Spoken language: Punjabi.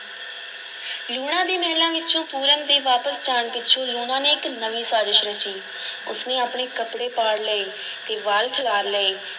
ਲੂਣਾ ਦੇ ਮਹਿਲਾਂ ਵਿੱਚੋਂ ਪੂਰਨ ਦੇ ਵਾਪਸ ਜਾਣ ਪਿੱਛੋਂ ਲੂਣਾ ਨੇ ਇੱਕ ਨਵੀਂ ਸਾਜ਼ਸ਼ ਰਚੀ, ਉਸ ਨੇ ਆਪਣੇ ਕੱਪੜੇ ਪਾੜ ਲਏ ਤੇ ਵਾਲ ਖਿਲਾਰ ਲਏ।